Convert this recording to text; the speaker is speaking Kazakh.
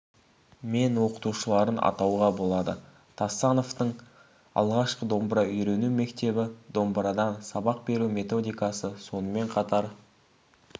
мен оқытушыларын атауға болады тастановтың алғашқы домбыра үйрену мектебі домбырадан сабақ беру методикасы сонымен қатар